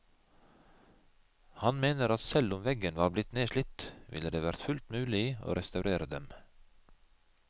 Han mener at selv om veggen var blitt nedslitt, ville det vært fullt mulig å restaurere dem.